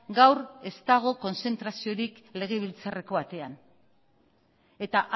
gaur ez dago kontzentraziorik legebiltzarreko atean eta